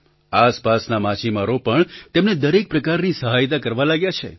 આસપાસના માછીમારો પણ તેમને દરેક પ્રકારની સહાયતા કરવા લાગ્યા છે